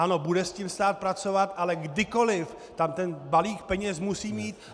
Ano, bude s tím stát pracovat, ale kdykoliv tam ten balík peněz musí mít.